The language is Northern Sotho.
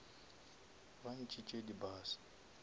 ba ntšhitše di bus